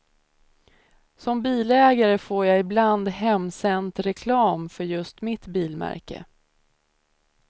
Som bilägare får jag ibland hemsänt reklam för just mitt bilmärke.